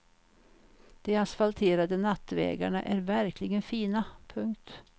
De asfalterade nattvägarna är verkligen fina. punkt